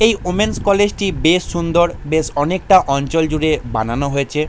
এই women's college টি বেশ সুন্দর বেশ অনেকটা অঞ্চল জুড়ে বানানো হয়েছে।